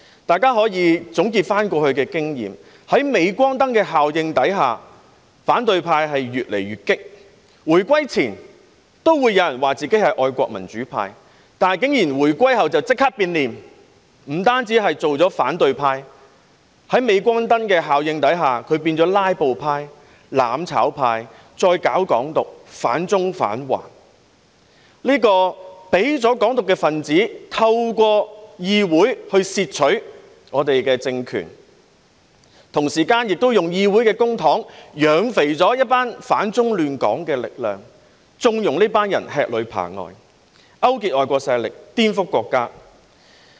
大家可以總結過去的經驗，在鎂光燈的效應下，反對派越來越激烈，回歸前也有人表示自己是愛國民主派，但回歸後竟然立即變臉，不單成為反對派，在鎂光燈的效應下，更變成"拉布派"、"攬炒派"，再搞"港獨"，反中反華，讓"港獨"分子透過議會竊取香港的政權，同時花議會的公帑"養肥"一撮反中亂港的力量，縱容這群人吃裏扒外，勾結外國勢力，顛覆國家。